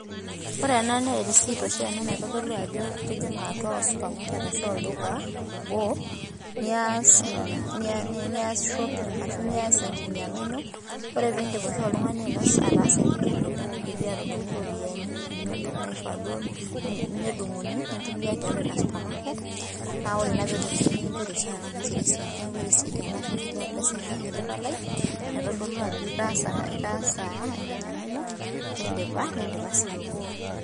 Ore ena naa erisiit oshi naitodolu itijing'a atua osupamaket ashu olduka obo nias shopping ashu enkinyang'a ino ore piindi oshi oltung'ani enkinyang'a ino nidipi aatudung'u iropiyiani inono naaifaa duoo nedung'uni nintumia tiiatua ina supermarket ,naa ore naa peedung'uni nikinchori oshi ena risiit neeku erisiit ena ashuu enkiti palai naitodolu ajo indipa atalaa.